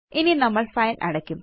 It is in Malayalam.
ഇനി നമ്മള് ഫൈൽ അടയ്ക്കും